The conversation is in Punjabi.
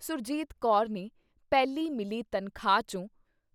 ਸੁਰਜੀਤ ਕੌਰ ਨੇ ਪਹਿਲੀ ਮਿਲੀ ਤਨਖਾਹ ਚੋਂ